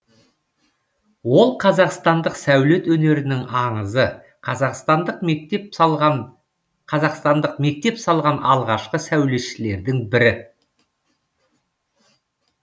ол қазақстандық сәулет өнерінің аңызы қазақстандық мектеп салған қазақстандық мектеп салған алғашқы сәулетшілердің бірі